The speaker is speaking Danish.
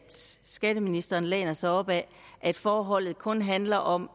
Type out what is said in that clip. skatteministeren læner sig op ad at forholdet kun handler om